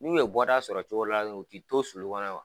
N'u ye bɔda sɔrɔ cogo dɔ la u tɛ to sulu kɔnɔ